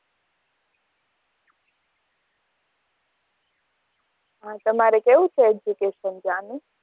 હ તમારે કેવું છે education ત્યાં નું